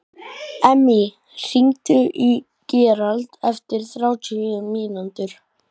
Emmý, hringdu í Gerald eftir þrjátíu mínútur.